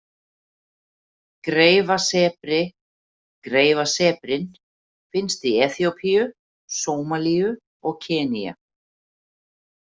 Greifasebri Greifasebrinn finnst í Eþíópíu, Sómalíu og Kenía.